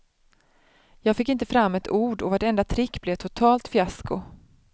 Jag fick inte fram ett ord och vartenda trick blev ett totalt fiasko.